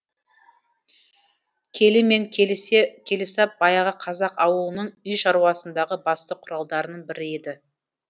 келі мен келісап баяғы қазақ ауылының үй шаруасындағы басты құралдарының бірі еді